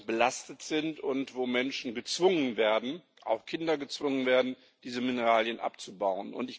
belastet sind, und wo Menschen gezwungen werden, auch Kinder gezwungen werden, diese Mineralien abzubauen.